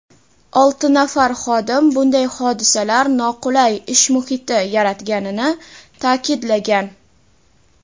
olti nafar xodim bunday hodisalar noqulay ish muhiti yaratganini ta’kidlagan.